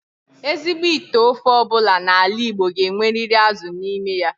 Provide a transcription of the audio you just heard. Ezigbo ite ofe obula n'ala Igbo ga-enweriri azu n'ime ya.